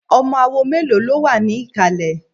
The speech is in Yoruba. Ọmọ awo mélòó ló wà ní ìkàlẹ̀?